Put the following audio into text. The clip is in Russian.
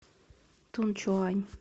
тунчуань